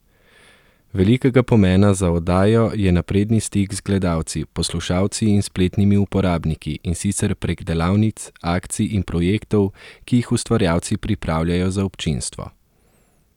Velikega pomena za oddajo je napredni stik z gledalci, poslušalci in spletnimi uporabniki, in sicer prek delavnic, akcij in projektov, ki jih ustvarjalci pripravljajo za občinstvo.